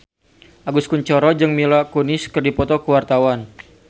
Agus Kuncoro jeung Mila Kunis keur dipoto ku wartawan